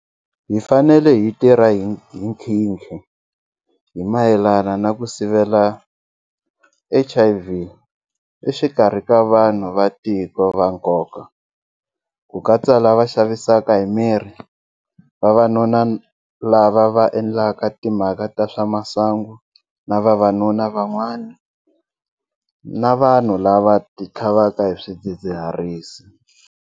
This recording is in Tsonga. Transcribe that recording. Hi fanele hi tirha hi nkhinkhi hi mayelana na ku sivela HIV exikarhi ka vanhu va tiko va nkoka, ku katsa lava xavisaka miri, vavanuna lava va endlaka timhaka ta swa masangu na vavanuna van'wana na vanhu lava va titlhavaka hi swidzidziharisi.